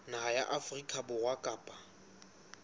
naha ya afrika borwa kapa